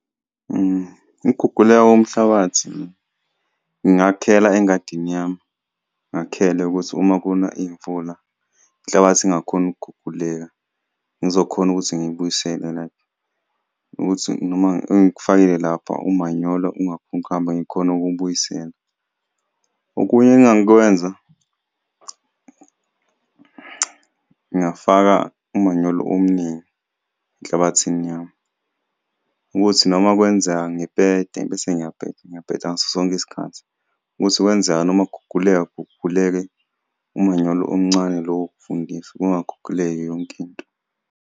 Ukuguguleka komhlabathi ngingakhela engadini yami ngakhele ukuthi uma kuna imvula inhlabathi ngingakhoni ukuguguleka, ngizokhona ukuthi ngiyibuyisele like ukuthi noma engikufakile lapha umanyolo ungakhoni ukuhamba ngikhone ukuwubuyisela. Okunye engakwenza ngafaka umanyolo omningi enhlabathini yami ukuthi noma kwenzeka ngipete bese ngiyapeta, ngiyapeta ngaso sonke isikhathi ukuthi kwenzeka noma kuguguleka kuguguleke umanyolo omncane lo wokuvundisa kungaguguleki yonke into.